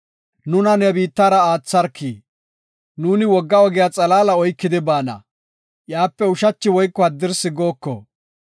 “Nuna ne biittara aatharki; nuuni wogga ogiya xalaala oykidi baana; iyape ushachi woyko haddirsi gooko.